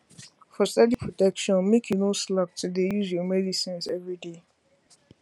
for steady protection make you no slack to dey use your medicines everyday